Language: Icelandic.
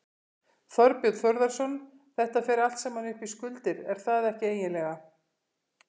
Þorbjörn Þórðarson: Þetta fer allt saman upp í skuldir, er það ekki eiginlega?